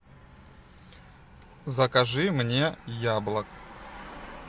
закажи мне яблок